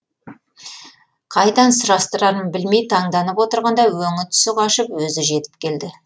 қайдан сұрастырарын білмей таңданып отырғанда өңі түсі қашып өзі жетіп келді